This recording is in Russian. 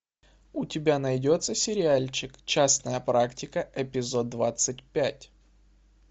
у тебя найдется сериальчик частная практика эпизод двадцать пять